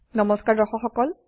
নমস্কাৰ দৰ্শক সকল